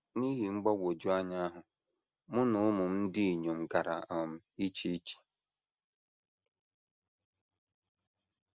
N’ihi mgbagwoju anya ahụ, mụ na ụmụ m ndị inyom gara um iche iche.